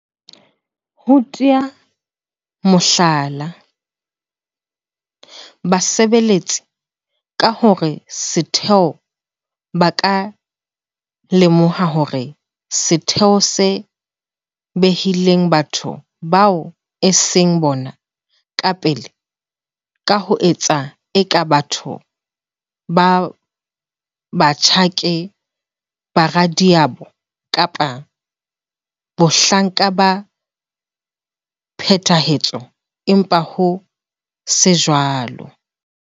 Ho tea mohlala, basebeletsi ka hara setheo ba ka lemoha hore setheo se behile batho bao e seng bona ka pele ka ho etsa eka batho ba batsho ke boradiabo kapa bahlanka ba phethahatso empa ho se jwalo,